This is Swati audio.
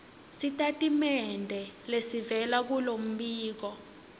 sitatimende lesivela kulombiko